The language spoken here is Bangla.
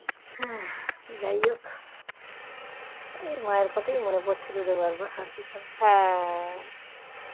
যাইহোক এই মায়ের কথা মনে পড়ছিল বারবার